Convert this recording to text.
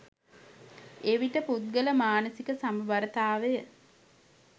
එවිට පුද්ගල මානසික සමබරතාවය